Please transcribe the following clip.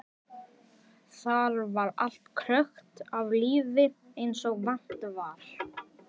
Þar var allt krökkt af lífi eins og vant var.